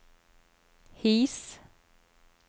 His